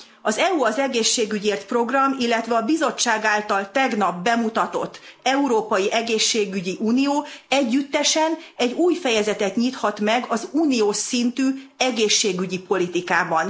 Az EU az egészségügyért program, illetve a bizottság által tegnap bemutatott európai egészségügyi unió együttesen egy új fejezetet nyithat meg az uniós szintű egészségügyi politikában.